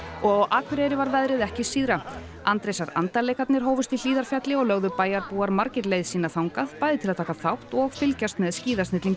og á Akureyri var veðrið ekki síðra Andrésar andar leikarnir hófust í Hlíðarfjalli og lögðu bæjarbúar margir leið sína þangað bæði til að taka þátt og fylgjast með